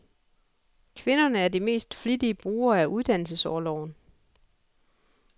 Kvinderne er de mest flittige brugere af uddannelsesorloven.